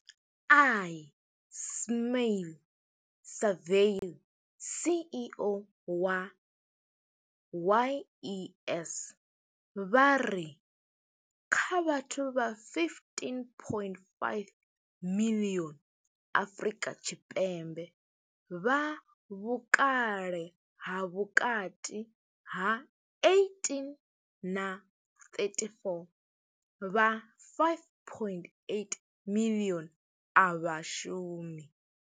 Ismail-Saville CEO wa YES, vha ri kha vhathu vha 15.5 miḽioni Afrika Tshipembe vha vhukale ha vhukati ha 18 na 34, vha 5.8 miḽioni a vha shumi.